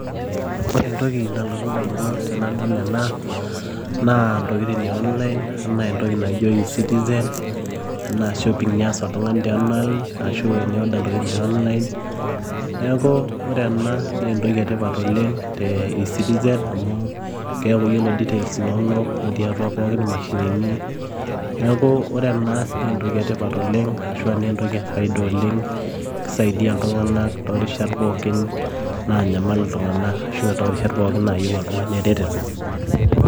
Ore entoki nalotu idamunot tenadol ena naa entokitin' eonlain, entoki naijio esitisen, enaa shopping eyas oltung'ani te onlain Ashu enioda entokitin' te onlain neeku ore ena naa entoki etipat oleng' esitisen amu keeku ore details pooki enono netii pooki emashinini, neeku ore ena naa entoki etipat oleng' ashu naa entoki efaida oleng' keisaidia iltung'anak toorishat pookin naanyamal iltung'anak ashu toorishat pookin nayieu oltung'ani eretoto.